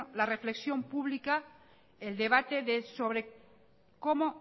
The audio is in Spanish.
la reflexión pública el debate de sobre cómo